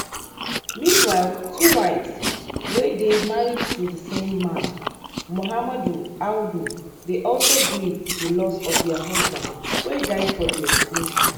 meanwhile two wives wey dey married to di same man muhammadu audu dey also grieve di loss of dia husband wey die for di explosion